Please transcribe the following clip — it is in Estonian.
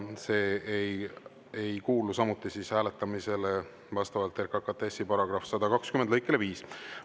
See ei kuulu samuti hääletamisele vastavalt RKKTS‑i § 120 lõikele 5.